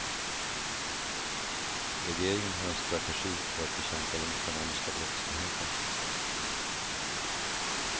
Regeringen har en strategi för att bekämpa den ekonomiska brottsligheten.